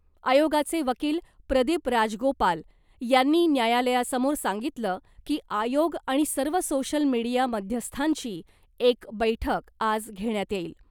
आयोगाचे वकील प्रदीप राजगोपाल यांनी न्यायालयासमोर सांगितलं की आयोग आणि सर्व सोशल मीडिया मध्यस्थांची एक बैठक आज घेण्यात येईल .